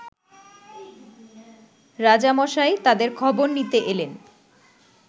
রাজামশাই তাদের খবর নিতে এলেন